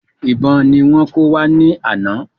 Ìbọn ni wọ́n kó wá ní ana